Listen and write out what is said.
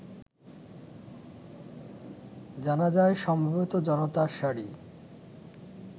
জানাজায় সমবেত জনতার সারি